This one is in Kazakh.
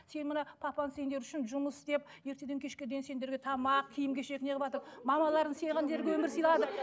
сен мына папаң сендер үшін жұмыс істеп ертеден кешке дейін сендерге тамақ киім кешек неғыватыр мамаларың өмір сылайды